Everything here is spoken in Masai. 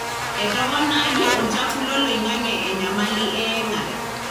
etoponayie olchafu loloingange enyamali eyengare.